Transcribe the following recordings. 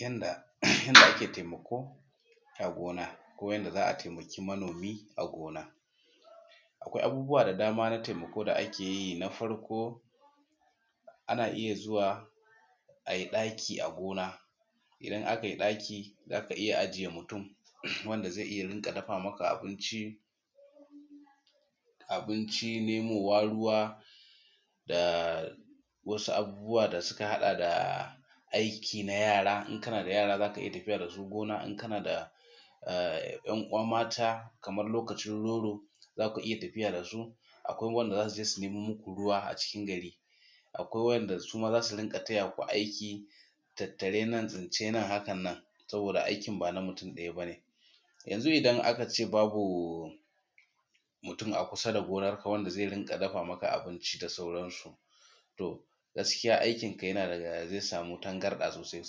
Yadda ake taimako a gona ko yadda za a taimaki manomi a gona. Akwai abubuwa da dama na taimako ko da ake yi na farko, ana iya zuwa a yi ɗaki a gina idan aka yi ɗaki za ka iya ajiye mutun wanda zai riƙa dafa maka abinci nemowa ruwa da wasu abubuwa da suka haɗa da aikin na yara idan kana da yara za ka iya tafiya da su gona idan kana da 'yan uwa mata kamar lokacin roro za ku iya tafiya da su. Akwai wanda za su je su nemo muku ruwa a cikin gari, akwai waɗanda su ma za su riƙa tayaku aiki na hakan nan. Saboda aikin ba na mutum daya ba ne, yanzu idan aka ce babu mutun a kusa da gonar ka wanda zai riƙa dafa maka abinci haka gaski aikinka zai sama tangarda sosai.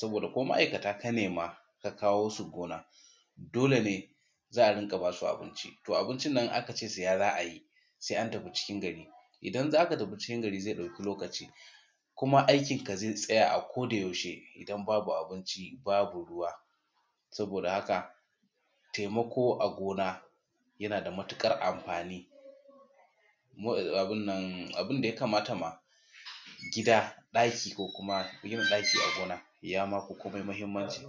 Dole za a riƙa ba su abinci, abincin nan idan aka ce saya za a yi sai an tafi cikin gari. Idan za ka tafi cikkn gari aikinka zai ɗauki lokaci kuma aikinka zai tsaya a koyausahe saboda babu abinci ba ruwa. Taimako a gina yana da matuƙar amfani abun da ya kamata ma gida daki ma yin daki a gona ya ma fi komai mahimmanci.